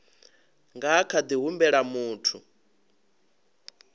nga kha ḓi humbela muthu